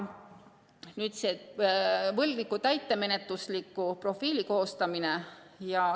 Nüüd võlgniku täitemenetlusliku profiili koostamisest.